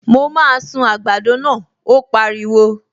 Mo máa sun àgbàdo náà, ó pariwo